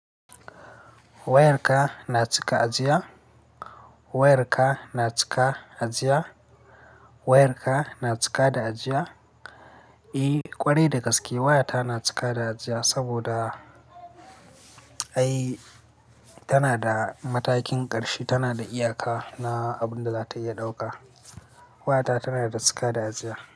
Wayarka na cika ajiya? Wayarka na cika ajiya? Wayarka na cika da ajiya? Eh, ƙwarai da gaske wayata na cika da ajiya saboda, ai, tana da matakin ƙarshe, tana da iyaka na abun da za ta iya ɗauka. Wayata tana da cika da ajiya.